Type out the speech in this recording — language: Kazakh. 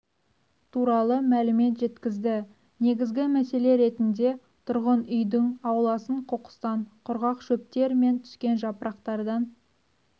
туралы мәлімет жеткізді негізгі мәселе ретінде тұрғын үйдің ауласын қоқыстан құрғақ шөптер мен түскен жапырақтардан